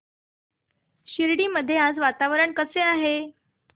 शिर्डी मध्ये आज वातावरण कसे आहे